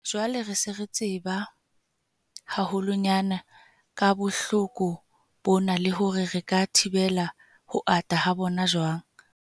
Jwale se re tseba haholwanyane ka bohloko bona le hore re ka thibela ho ata ha bona jwang.